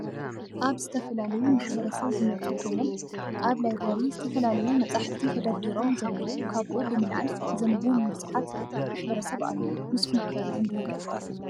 ካብ ዝተፈላለዮ ማሕበረሰብ ዝመፁ ኮይኖም አብ ላብረር ዝተፈላለዮ መፅሐፍቲ ተደርድሮም ዘለው ካብኡ ብምልዓል ዘንቡ ብዝሐት ማሕበረሰብ አለው ። ንሰኩም ከ ተንብ ዶ?